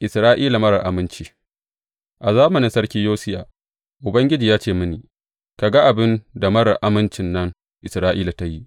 Isra’ila marar aminci A zamanin Sarki Yosiya, Ubangiji ya ce mini, Ka ga abin da marar amincin nan, Isra’ila ta yi?